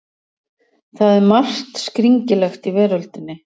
Það er margt skringilegt í veröldinni.